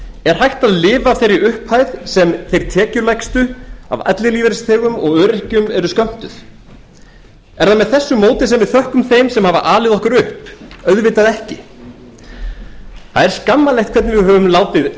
er hægt að lifa af þeirri upphæð sem þeir tekjulægstu af ellilífeyrisþegum og öryrkjum eru skömmtuð er það með þessu móti sem við þökkum þeim sem við hafa alið okkur upp auðvitað ekki það er skammarlegt hvernig við höfum látið